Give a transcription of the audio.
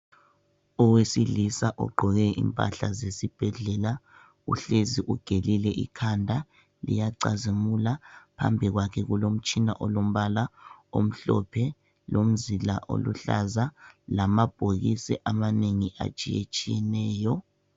Owesilisa ogqoke impahla zesibhedlela uhlezi ugelile ikhanda, liyacazimula. Phambi kwakhe kulomtshina olombala omhlophe lomzila oluhlaza lamabhokisi amanengi atshiyetshiyeneyo.